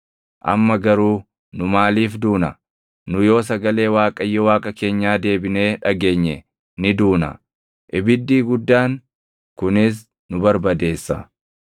Amma garuu nu maaliif duuna? Nu yoo sagalee Waaqayyo Waaqa keenyaa deebinee dhageenye ni duuna; ibiddii guddaan kunis nu barbadeessa.